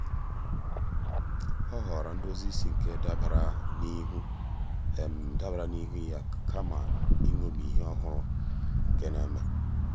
ọ́ họ̀ọ̀rọ̀ ndózí ísí nke dabara n’íhú dabara n’íhú yá kama ị́ṅọ́mí ìhè ọ́hụ́rụ́ nà-èmé.